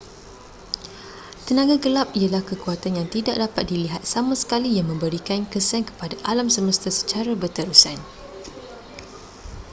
tenaga gelap ialah kekuatan yang tidak dapat dilihat sama sekali yang memberikan kesan kepada alam semesta secara berterusan